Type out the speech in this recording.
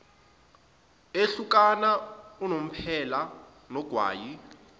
ehlukana unomphela nogwayi